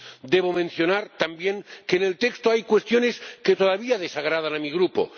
Debo mencionar también que en el texto hay cuestiones que todavía desagradan a mi Grupo.